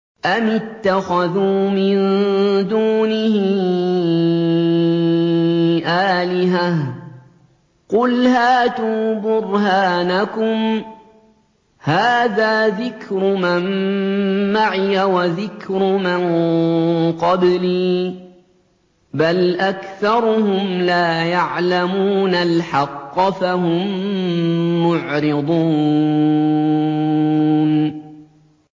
أَمِ اتَّخَذُوا مِن دُونِهِ آلِهَةً ۖ قُلْ هَاتُوا بُرْهَانَكُمْ ۖ هَٰذَا ذِكْرُ مَن مَّعِيَ وَذِكْرُ مَن قَبْلِي ۗ بَلْ أَكْثَرُهُمْ لَا يَعْلَمُونَ الْحَقَّ ۖ فَهُم مُّعْرِضُونَ